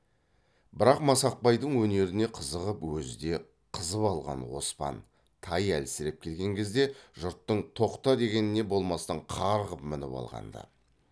бірақ масақбайдың өнеріне қызығып өзі де қызып алған оспан тай әлсіреп келген кезде жұрттың тоқта дегеніне болмастан қарғып мініп алған ды